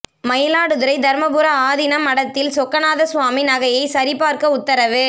மயிலாடுதுறை தருமபுர ஆதீன மடத்தில்சொக்கநாத சுவாமி நகையை சரிபார்க்க உத்தரவு